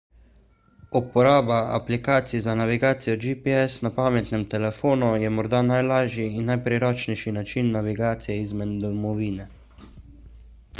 uporaba aplikacij za navigacijo gps na pametnem telefonu je morda najlažji in najpriročnejši način navigacije izven domovine